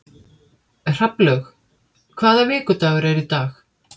Hrafnlaug, hvaða vikudagur er í dag?